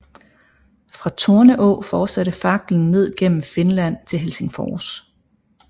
Fra Torneå fortsatte faklen ned gennem Finland til Helsingfors